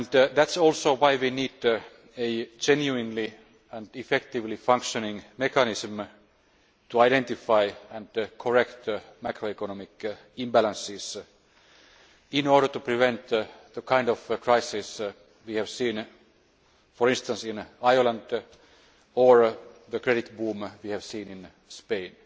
That is also why we need a genuinely and effectively functioning mechanism to identify and correct macroeconomic imbalances, in order to prevent the kind of crises we have seen, for instance in Ireland or the credit boom we have seen in Spain.